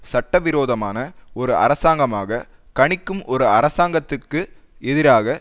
சட்ட விரோதமான ஒரு அரசாங்கமாகக் கணிக்கும் ஒரு அரசாங்கத்துக்கு எதிராக